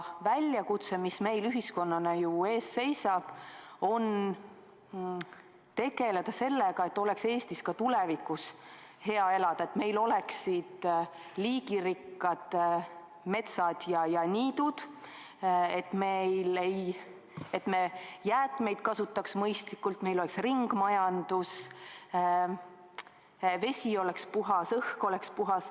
Väljakutse, mis meil ühiskonnana ees seisab, on tegeleda sellega, et Eestis oleks ka tulevikus hea elada, et meil oleksid liigirikkad metsad ja niidud, jäätmeid kasutataks mõistlikult, meil oleks ringmajandus, vesi oleks puhas, õhk oleks puhas.